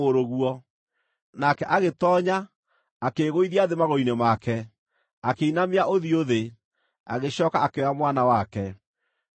Nake agĩtoonya, akĩĩgũithia thĩ magũrũ-inĩ make, akĩinamia ũthiũ thĩ. Agĩcooka akĩoya mwana wake, akiuma.